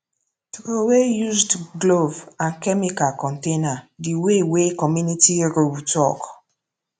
throwaway used glove and chemical container the way wey community rule talk